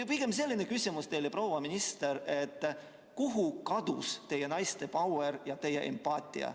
Pigem selline küsimus teile, proua minister, et kuhu kadus teie valitsuses naiste pauer ja empaatia.